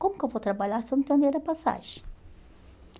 Como que eu vou trabalhar se eu não tenho dinheiro para passagem?